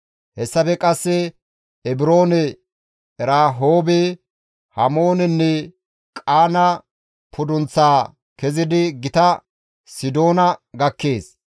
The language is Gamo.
Hessafe qasse Ebiroone, Erahoobe, Hamoonenne Qaana pudunththaa kezidi gita Sidoona gakkees.